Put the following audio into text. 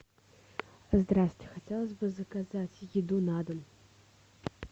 здрасте хотелось бы заказать еду на дом